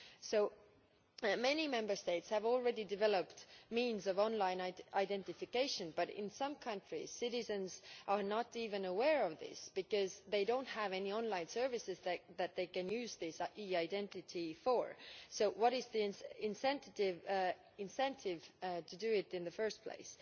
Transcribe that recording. So many Member States have already developed means of online identification, but in some countries citizens are not even aware of this, because they do not have any online services that they can use e identity for. So what is the incentive to do it in the first place?